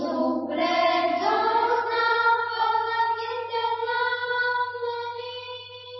ശുഭ്ര ജ്യോത്സനാം പുളകിതയാമിനീം